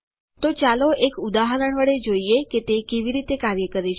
તો ચાલો એક ઉદાહરણ વડે જોઈએ કે તે કેવી રીતે કાર્ય કરે છે